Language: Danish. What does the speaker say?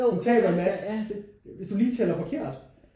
Du taber en maske hvis du lige tæller forkert